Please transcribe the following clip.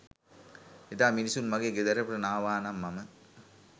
එදා මිනිසුන් මගේ ගෙදරට නාවානම් මම